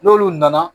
N'olu nana